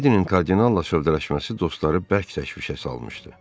Miledinin kardinalla şövdələşməsi dostları bərk təşvişə salmışdı.